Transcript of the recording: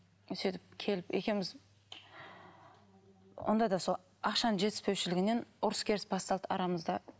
сөйтіп келіп екеуміз онда да сол ақшаның жетіспеушілігінен ұрыс керіс басталды арамызда